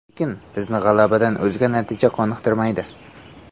Lekin bizni g‘alabadan o‘zga natija qoniqtirmaydi.